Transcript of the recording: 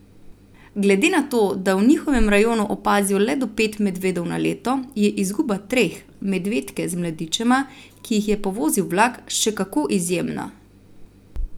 Glede na to, da v njihovem rajonu opazijo le do pet medvedov na leto, je izguba treh, medvedke z mladičema, ki jih je povozil vlak, še kako izjemna!